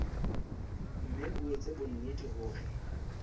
mme o etse bonnete hore